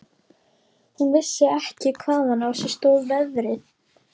Hún vissi ekki hvaðan á sig stóð veðrið.